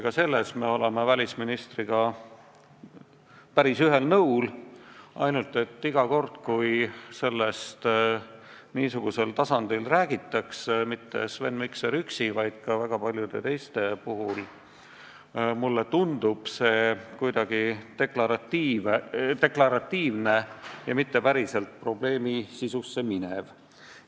Ka selles oleme me välisministriga päris ühel nõul, ainult et iga kord, kui sellest niisugusel tasandil räägitakse – mitte Sven Mikser üksi, see on nii ka väga paljude teiste puhul –, tundub see mulle kuidagi deklaratiivne ja mitte päriselt probleemi sisusse minev.